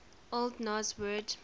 old norse word